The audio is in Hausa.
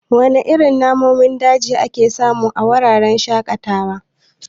Wana irin namomin daji ake samu a wuraren shaƙatawa?